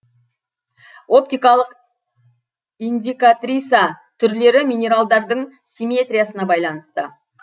оптикалық индикатриса түрлері минералдардың симметриясына байланысты